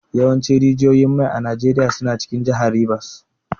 Yawancin rijiyoyin mai a Najeriya suna cikin jihar Rivers.